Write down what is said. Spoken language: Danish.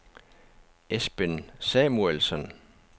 Esben Samuelsen